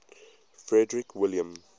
frederick william